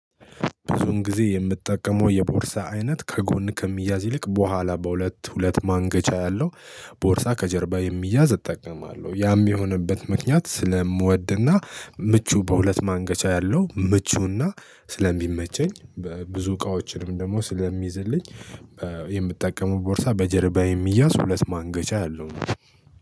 ብዙም ጊዜ የምትጠቀመው የቦርሳ አይነት ከጎን ከሚያዝ ይልቅ በኋላ በሁለት ሁለት ማንገቻ ያለው ቦርሳ ከጀርባ የሚያዝ እጠቀማለሁ ያም የሆነበት ምክንያት ስለምወድና ምቹ በሁለት ማንገቻ ያለው ምቹና ስለሚመቸኝ ብዙ እቃዎችንም ደግሞ ስለሚይዝልኝ። ቦርሳ በጀርባዬ የምያዝ ሁለት ማንገቻ ያለው ነው።